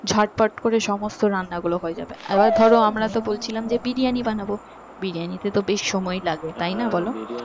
ঝটপট করে সমস্ত রান্না গুলো হয়ে যাবে আবার ধরো আমরা তো বলছিলাম যে বিরিয়ানি বানাবো বিরিয়ানিতে তো বেশ সময় লাগে তাইনা বলো?